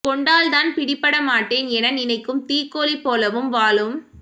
கொண்டால் தான் பிடிபட மாட்டேன் என நினைக்கும் தீக்கோழி போலவும் வாழும்